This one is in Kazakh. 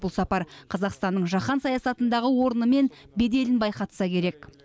бұл сапар қазақстанның жаһан саясатындағы орны мен беделін байқатса керек